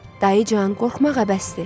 Dayıcan, qorxmağa bəsdir.